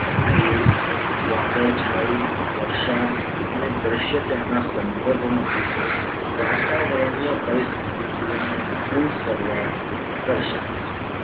ભેજ, વાદળછાયુ, વરસાદ અને દ્રશ્યતાના સંદર્ભમાં વાતાવરણીય પરિસ્થિતિ ઓના પૂર્ણ સરવાળાને દર્શાવે છે.